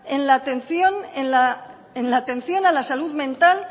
en la atención a la salud mental